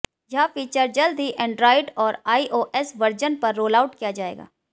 यह फीचर जल्द ही एंड्रायड और आईओएस वर्जन पर रोलआउट किया जाएगा